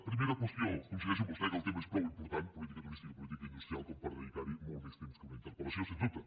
primera qüestió coincideixo amb vostè que el tema és prou important política turística i política industrial com per dedicar hi molt més temps que una interpel·lació sens dubte